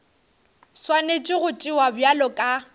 swanetše go tšewa bjalo ka